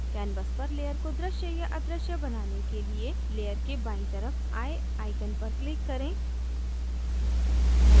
canvas पर layer को दृश्य या अदृश्य बनाने के लिए layer के बायीं तरफ eye icon पर click करें